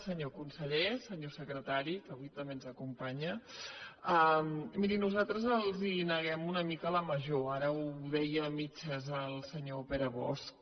senyor conseller senyor secretari que avui també ens acompanya miri nosaltres els neguem una mica la major ara ho deia a mitges el senyor pere bosch